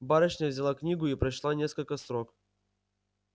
барышня взяла книгу и прочла несколько строк